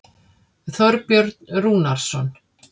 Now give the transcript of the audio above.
Þorbjörn Rúnarsson.